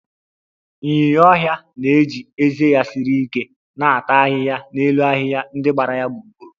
Ịnyinya ọhịa na-eji ezé ya siri ike na-ata ahịhịa n'elu ahịhịa ndị gbara ya gburugburu